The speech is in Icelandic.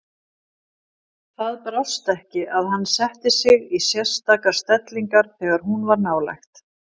Það brást ekki að hann setti sig í sérstakar stellingar þegar hún var nálægt.